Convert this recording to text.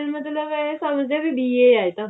ਮਤਲਬ ਇਹ ਸਮਝਦੇ ਨੇ ਵੀ BA ਆ ਇਹ ਤਾਂ